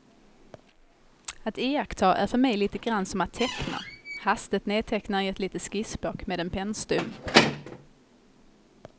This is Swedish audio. Att iaktta är för mig lite grann som att teckna, hastigt nedteckna i ett litet skissblock med en pennstump.